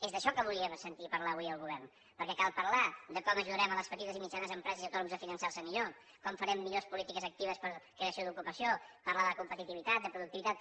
és d’això que volíem sentir a parlar avui el govern perquè cal parlar de com ajudarem a les petites i mitjanes empreses i autònoms a finançar se millor com farem millors polítiques actives per a creació d’ocupació parlar de competitivitat de productivitat